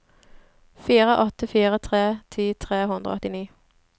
fire åtte fire tre ti tre hundre og åttini